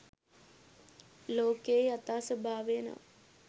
ලෝකයේ යථා ස්වභාවය නම්